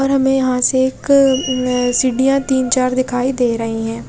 और हमे यहाँ से एक अ सिडिया तीन चार दिखाई दे रहे है।